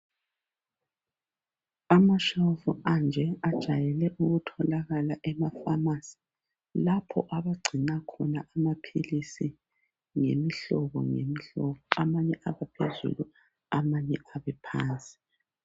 Amashofu anje ajayele ukutholakala ema pharmacy lapho abagcina khona amaphilisi ngemihlobo ngemihlobo. Amanye abaphezulu amanye abe phansi